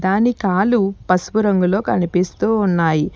దాని కాలు పసుపు రంగులో కనిపిస్తూ ఉన్నాయి.